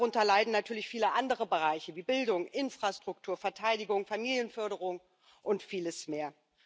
Darunter leiden natürlich viele andere Bereiche wie Bildung, Infrastruktur, Verteidigung, Familienförderung und vieles mehr.